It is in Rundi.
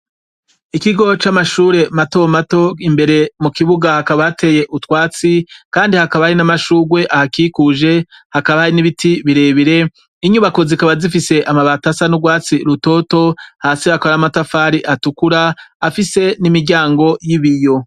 Ikigo c'amashure mato mato, imbere mu kibuga hakaba hateye utwatsi, kandi hakaba hari n'amashurwe ahakikuje hakaba hari n'ibiti birebire, inyubako zikaba zifise amabati asa n'urwatsi rutoto, hasi hakaba hari amatafari atukura afise n'imiryango y'ibiyo.